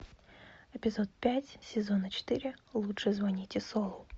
эпизод пять сезона четыре лучше звоните солу